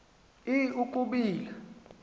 i i ukubila